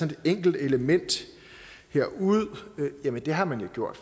et enkelt element her ud men det har man jo gjort